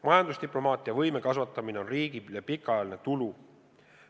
Majandusdiplomaatia võimekuse kasvatamine on riigile pikaajaline tulu.